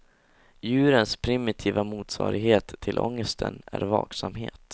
Djurens primitiva motsvarighet till ångesten är vaksamhet.